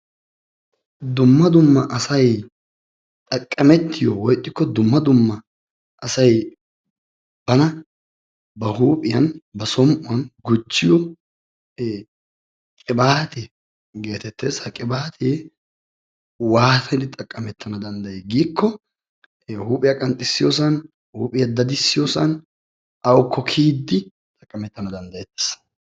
Dumma dumma asay xaqamettiyo woy ixxiko dumma dumma asay bana ba huuphiyan ba som"uwan gujjiyo qibaate geetetes. Ha qibaate waatidi xaqametaana dandayiyo giiko huuphiya qanxisiyosan, huuphiya dadisiyosan, awuko kiyiiddi xaqametana dandayeettes.